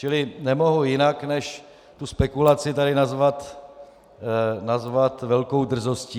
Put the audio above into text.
Čili nemohu jinak než tu spekulaci tady nazvat velkou drzostí.